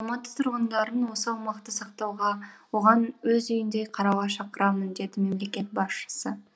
алматы тұрғындарын осы аумақты сақтауға оған өз үйіндей қарауға шақырамын деді мемлекет басшысы